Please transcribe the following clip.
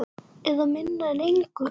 Eða minna en engu.